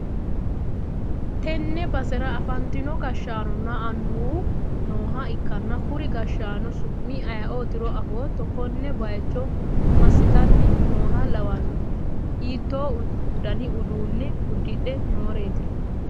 tenne basera afantino gashshaanonna annuwu nooha ikkanna kuri gashshaano su'mi ayeeotiro afootto? konne bayicho massitanni nooha lawannohe? hiitto dani uduunne uddidhe nooreeti.